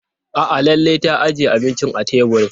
A'a Laila ta ajiye abinci a teburin.